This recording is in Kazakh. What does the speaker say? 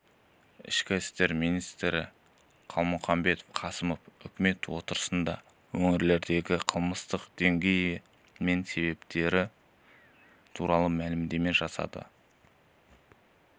ішкі істер министрі қалмұханбет қасымов үкімет отырысында өңірлердегі қылмыстың деңгейі мен себептері туралы мәлімдеме жасады деп